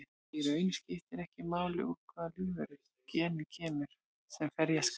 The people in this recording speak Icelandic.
Í raun skiptir ekki máli úr hvaða lífveru genið kemur sem ferja skal.